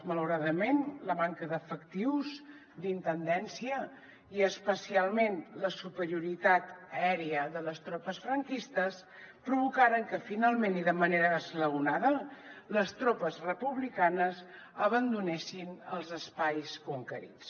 malauradament la manca d’efectius d’intendència i especialment la superioritat aèria de les tropes franquistes provocaren que finalment i de manera esglaonada les tropes republicanes abandonessin els espais conquerits